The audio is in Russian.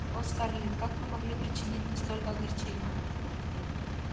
о скарлетт как вы могли причинить мне столько огорчений